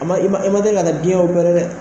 a ma i man teli ka biɲɛ dɛ